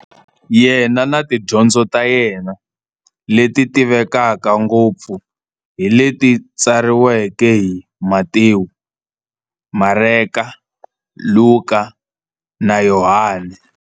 Yena na tidyondzo ta yena, leti tivekaka ngopfu hi leti tsariweke hi-Matewu, Mareka, Luka, na Yohani.